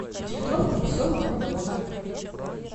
пятилитровку веселого водовоза